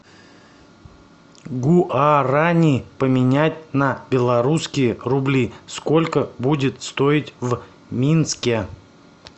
гуарани поменять на белорусские рубли сколько будет стоить в минске